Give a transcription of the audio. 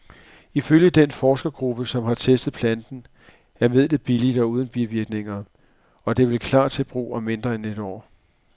Ifølge den forskergruppe, som har testet planten, er midlet billigt og uden bivirkninger, og det vil klar til brug om mindre end et år.